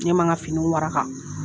Ne ma n ka finiw waraka